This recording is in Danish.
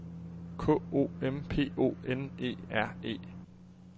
K O M P O N E R E